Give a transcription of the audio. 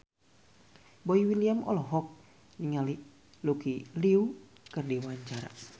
Boy William olohok ningali Lucy Liu keur diwawancara